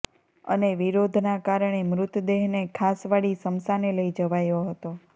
અને વિરોધના કારણે મૃતદેહને ખાસવાડી સ્મશાને લઇ જવાયો હતો